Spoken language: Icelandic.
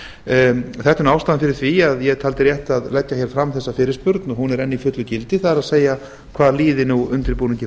ástæðan fyrir því að ég taldi rétt að leggja hér fram þessa fyrirspurn og hún er enn í fullu gildi það er hvað líði nú undirbúningi